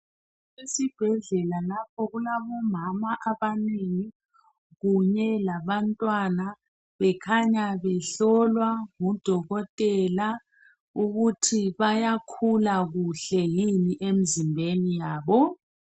Esibhedlela lapho kulabomama abanengi kunye labantwana bekhanya behlolwa ngudokotela ukuthi bayakhula kuhle yini emzimbeni yabo.